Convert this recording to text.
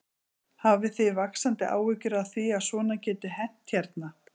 Hafið þið vaxandi áhyggjur af því að svona geti hent hérna?